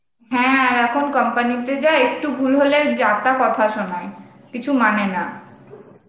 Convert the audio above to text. হ্যাঁ , এখন company তে যা একটু ভুল হলে যা তা কথা সোনায় কিছু মানে না